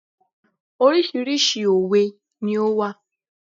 Oríṣiríṣi òwe ni ó wà.